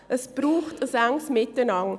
Es braucht ein enges Miteinander.